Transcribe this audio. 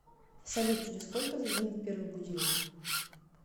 салют через сколько зазвонит первый будильник